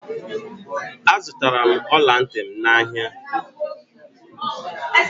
Azutara m ola nti m n'ahia